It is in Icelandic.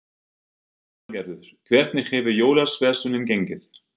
Lillý Valgerður: Hvernig hefur jólaverslunin gengið?